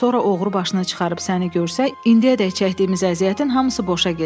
Sonra oğru başına çıxarıb səni görsə, indiyədək çəkdiyimiz əziyyətin hamısı boşa gedər.